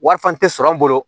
Wari fana tɛ sɔrɔ an bolo